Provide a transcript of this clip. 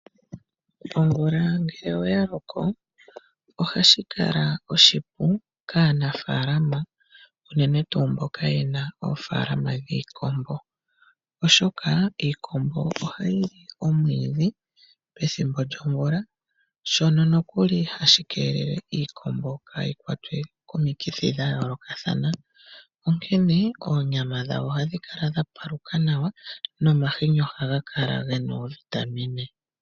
Omvula ngele oya loko ohashi kala oshipu kaanafaalama unene tuu mboka ye na oofaalama dhiikombo, oshoka iikombo ohayi li omwiidhi pethimbo lyomvula, shono nokuli hashi keelele iikombo kaayi kwatwe komikithi dha yoolokathana. Onkene onyama yadho ohayi kala ya paluka nawa nomahini ohaga kala ge na oovitamine.